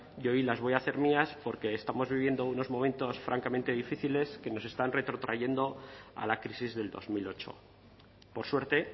y hoy las voy a hacer mías porque estamos viviendo unos momentos francamente difíciles que nos están retrotrayendo a la crisis del dos mil ocho por suerte